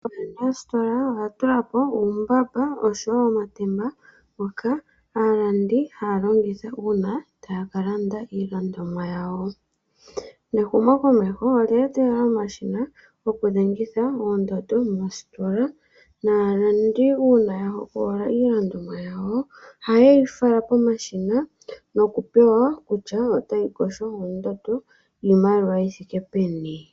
Ooyene yoositola oya tulapo uutemba oshowo omambamba ngoka aantu haya longitha uuna taya kalanda iilandomwa yawo. Ehumo lyomeho olye etelela omashina gokudhengitha oondando moositola. Uuna aalandi yahogolola iilandomwa yawo oha yeyi fala pomashina nokupewa kutya otayi kotha ondando yiimaliwa yithike peni.